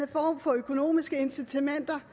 form for økonomiske incitamenter